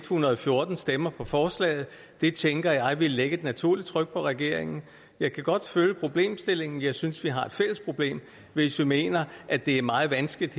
hundrede og fjorten stemmer for forslaget det tænker jeg ville lægge et naturligt tryk på regeringen jeg kan godt følge problemstillingen jeg synes vi har et fælles problem hvis vi mener at det er meget vanskeligt